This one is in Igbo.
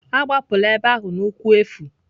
Agbapụla ebe ahụ n'ụkwụ efu!